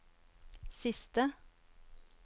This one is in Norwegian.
siste